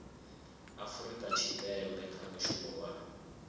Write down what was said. afurika tshipembe kha mushumo wa